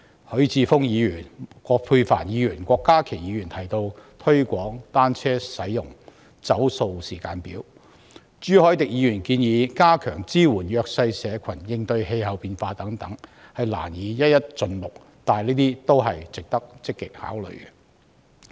許智峯議員、葛珮帆議員和郭家麒議員提及推廣單車使用、"走塑"時間表；朱凱廸議員建議加強支援弱勢社群應對氣候變化等，我難以一一盡錄，但這些都是值得積極考慮的意見。